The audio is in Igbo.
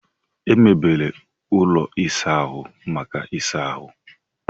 E mebere ụlọ ịsa ahụ maka ịsa ahụ.